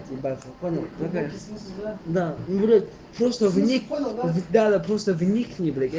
ебать я понял тебя сюда да ну что вы никогда просто вникни